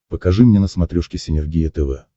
покажи мне на смотрешке синергия тв